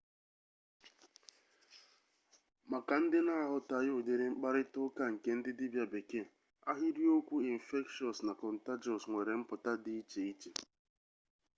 maka ndị na-aghọtaghị ụdịrị mkparịta ụka nke ndị dibia bekee ahịrịokwu okwu infectious na contagious nwere mpụta dị iche iche